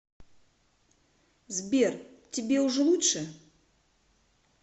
сбер тебе уже лучше